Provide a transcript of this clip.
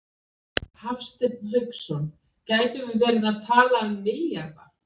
Hafsteinn Hauksson: Gætum við verið að tala um milljarða?